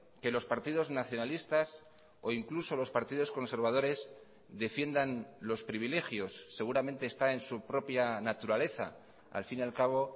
que los partidos nacionalistas o incluso los partidos conservadores defiendan los privilegios seguramente está en su propia naturaleza al fin y al cabo